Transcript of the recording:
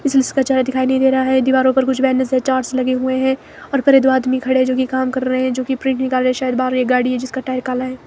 इसमें उसका चेहरा दिखाई नहीं दे रहा है दीवारों पर कुछ बैनर्स से चार्ट्स लगे हुए हैं और फिर ये दो आदमी में खड़े जो कि काम कर रहे हैं जो की प्रिंट निकाल रहे हैं शायद बाहर एक गाड़ी है जिसका टायर काला है।